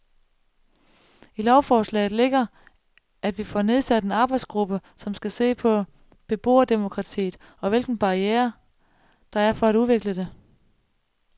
I lovforslaget ligger, at vi får nedsat en arbejdsgruppe, som skal se på beboerdemokratiet og hvilke barrierer, der er for at udvikle det.